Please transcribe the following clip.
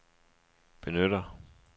benytter